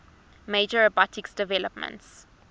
major robotics developments